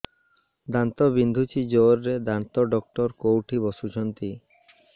ଦାନ୍ତ ବିନ୍ଧୁଛି ଜୋରରେ ଦାନ୍ତ ଡକ୍ଟର କୋଉଠି ବସୁଛନ୍ତି